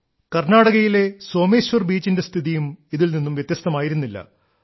കർണ്ണാടകയിലെ സോമേശ്വർ ബീച്ചിന്റെ സ്ഥിതിയും ഇതിൽ നിന്നും വ്യത്യസ്തമായിരുന്നില്ല